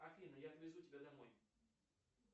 афина я отвезу тебя домой